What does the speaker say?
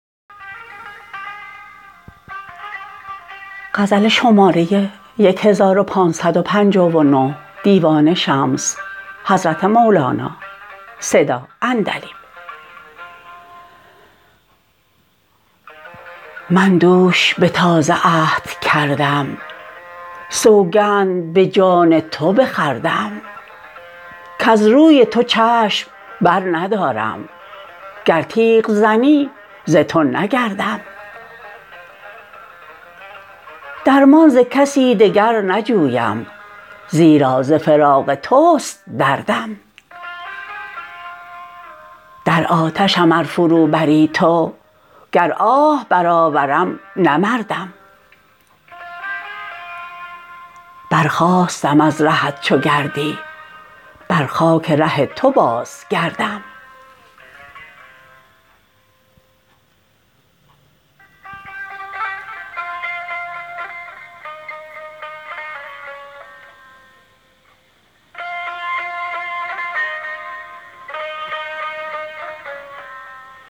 من دوش به تازه عهد کردم سوگند به جان تو بخوردم کز روی تو چشم برندارم گر تیغ زنی ز تو نگردم درمان ز کسی دگر نجویم زیرا ز فراق توست دردم در آتشم ار فروبری تو گر آه برآورم نه مردم برخاستم از رهت چو گردی بر خاک ره تو بازگردم